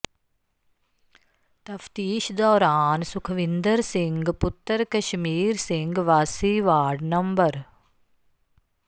ਤਫਤੀਸ਼ ਦੌਰਾਨ ਸੁਖਵਿੰਦਰ ਸਿੰਘ ਪੁੱਤਰ ਕਸ਼ਮੀਰ ਸਿੰਘ ਵਾਸੀ ਵਾਰਡ ਨੰ